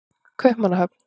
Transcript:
Kaupmannahöfn